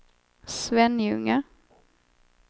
Svenljunga